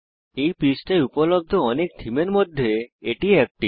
এই পৃষ্ঠায় উপলব্ধ অনেক থীমের মধ্যে এটি একটি